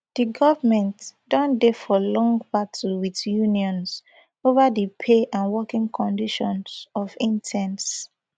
di goment don dey for long battle wit unions ova di pay and working conditions for interns